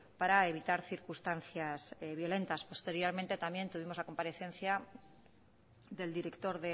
para evitar circunstancias violentas posteriormente también tuvimos la comparecencia del director